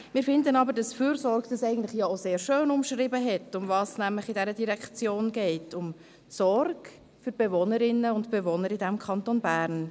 Wir finden aber auch, dass «Fürsorge» eigentlich auch sehr schön umschrieben hat, worum es in dieser Direktion geht: nämlich um die Sorge für die Bewohnerinnen und Bewohner im Kanton Bern.